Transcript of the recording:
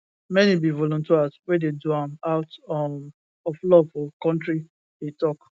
many be volunteers wey dey do am out um of love for kontri e tok